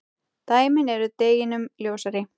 Dæmin eru deginum ljósari.